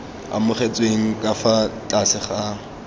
amogetsweng ka fa tlase ga